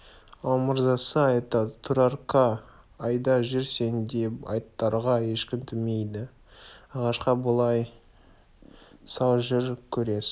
ал мырзасы айтады турарка айда жүр сен де аттарға ешкім тимейді ағашқа байлай сал жүр көресің